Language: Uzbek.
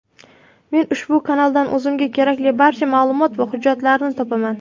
Men ushbu kanaldan o‘zimga kerakli barcha ma’lumot va hujjatlarni topaman.